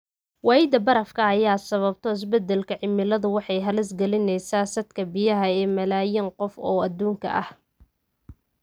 Waayida barafka ay sababto isbeddelka cimiladu waxay halis gelinaysaa saadka biyaha ee malaayiin qof oo adduunka ah.